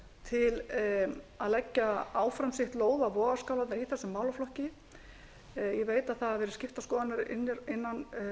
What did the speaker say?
til að leggja áfram sitt lóð á vogarskálarnar í þessum málaflokki ég veit að það hafa verið skiptar skoðanir innan